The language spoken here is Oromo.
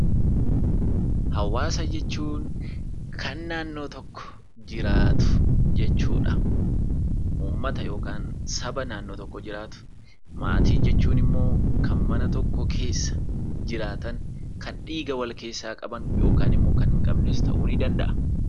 Hawaasa jechuun kan naannoo tokko jiraatu jechuudha. Uummata yookaan saba naannoo tokko jiraatu. Maatii jechuun immoo kan mana tokko keessa jiraatan kan dhiiga wal keessaa qaban yookaan immoo fira ta'uu ni danda'a.